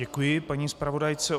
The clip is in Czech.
Děkuji paní zpravodajce.